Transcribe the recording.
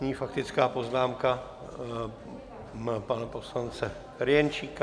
Nyní faktická poznámka pana poslance Ferjenčíka.